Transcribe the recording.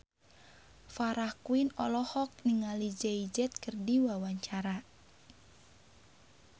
Farah Quinn olohok ningali Jay Z keur diwawancara